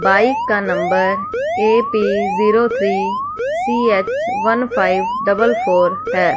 Bike का number A P zero three C H one five double four है।